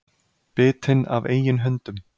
Bitinn af eigin hundum